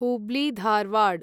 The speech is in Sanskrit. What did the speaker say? हुब्ली धारवाड्